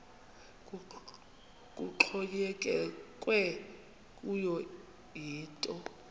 kuxhonyekekwe kuyo yinto